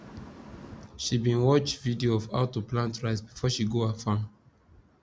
she bin watch video of how to plant rice before she go her farm